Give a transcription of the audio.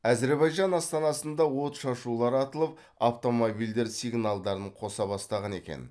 әзербайжан астанасында отшашулар атылып автомобильдер сигналдарын қоса бастаған екен